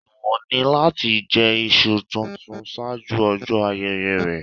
Èèwọ̀ ni láti jẹ iṣu tuntun ṣáájú ọjọ́ ayẹyẹ rẹ̀.